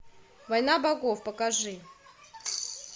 война богов покажи